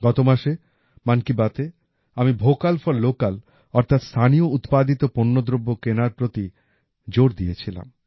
গত মাসে মন কী বাতএ আমি ভোকাল ফর লোকাল অর্থাৎ স্থানীয় উৎপাদিত পণ্যদ্রব্য কেনার প্রতি জোর দিয়েছিলাম